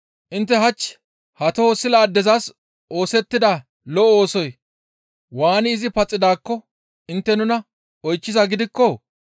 Intte hach ha toho sila addezas oosettida lo7o oosoy waani izi paxidaakko intte nuna oychchizaa gidikko,